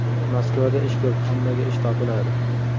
Moskvada ish ko‘p, hammaga ish topiladi.